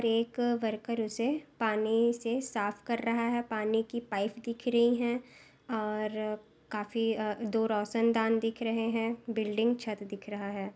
एक वर्कर उसे पानी से साफ कर रहा हैं पानी की पाइप दिख रही हैं और काफी ह दो रोशनदान दिख रहे हैं बिल्डिंग छत दिख रहा हैं।